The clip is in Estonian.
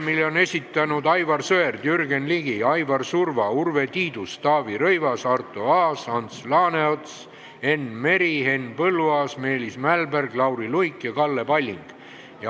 ... mille on esitanud Aivar Sõerd, Jürgen Ligi, Aivar Surva, Urve Tiidus, Taavi Rõivas, Arto Aas, Ants Laaneots, Enn Meri, Henn Põlluaas, Meelis Mälberg, Lauri Luik ja Kalle Palling.